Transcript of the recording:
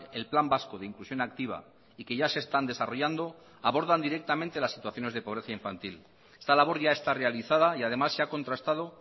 el plan vasco de inclusión activa y que ya se están desarrollando abordan directamente las situaciones de pobreza infantil esta labor ya está realizada y además se ha contrastado